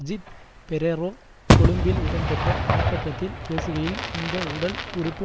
அஜித் பெரேரா கொழும்பில் இடம்பெற்ற ஆர்ப்பாட்டத்தில் பேசுகையில் இந்த உடல் உறுப்பு